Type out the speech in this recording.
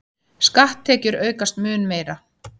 Skatttekjur aukast mun meira